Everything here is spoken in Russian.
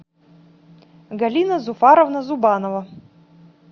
галина зуфаровна зубанова